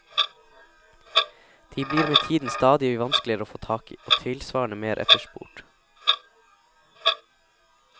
De blir med tiden stadig vanskeligere å få tak i, og tilsvarende mer etterspurt.